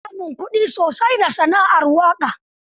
Ana samun kuɗi sosai a sana'ar waƙa.